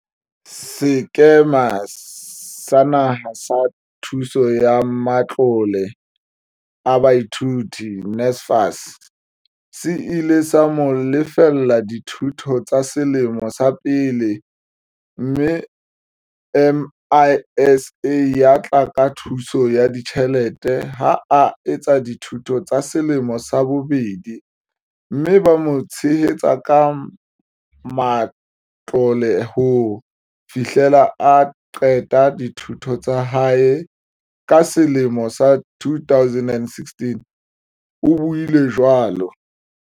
Sekema sa Naha sa Thuso ya Matlole a Baithuti, NSFAS, se ile sa mo lefella dithuto tsa selemo sa pele mme MISA ya tla ka thuso ya ditjhelete ha a etsa dithuto tsa selemo sa bobedi mme ba mo tshehetsa ka matlole ho fihlela a qeta dithuto tsa hae ka selemo sa 2016, o buile jwalo.